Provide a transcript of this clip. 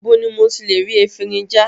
Ibo ni mo ti lè rí efinrin já?